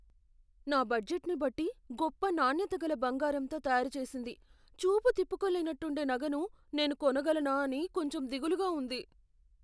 నా బడ్జెట్ని బట్టి, గొప్ప నాణ్యత గల బంగారంతో తయారు చేసింది, చూపు తిప్పుకోలేనట్టుండే నగను నేను కొనగలనా అని కొంచెం దిగులుగా ఉంది.